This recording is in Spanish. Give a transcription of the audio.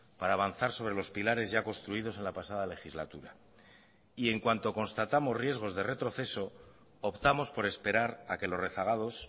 para avanzar sobre los pilares ya construidos en la pasada legislatura y en cuanto constatamos riesgos de retroceso optamos por esperar a que los rezagados